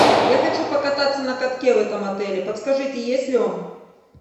я хочу покататься на катке в этом отеле подскажите есть ли он